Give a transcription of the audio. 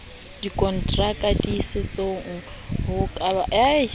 dikontraka ditiiso ho bakadimi ba